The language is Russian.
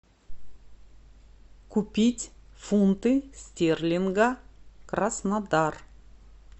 купить фунты стерлинга краснодар